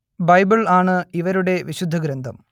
Bible ആണ് ഇവരുടെ വിശുദ്ധ ഗ്രന്ഥം